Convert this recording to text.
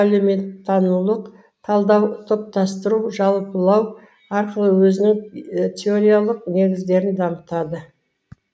әлеуметтанулық талдау топтастыру жалпылау арқылы өзінің теориялық негіздерін дамытады